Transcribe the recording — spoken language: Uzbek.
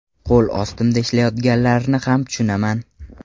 Qo‘l ostimda ishlayotganlarni ham tushunaman.